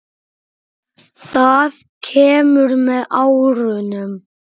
Það kemur með árunum.